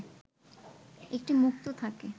একটি মুক্ত থাকে